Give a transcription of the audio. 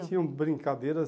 tinham brincadeiras...